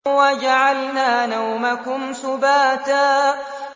وَجَعَلْنَا نَوْمَكُمْ سُبَاتًا